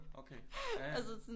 Okay ja